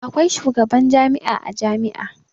Akwai shugaban jami'a a jami'a.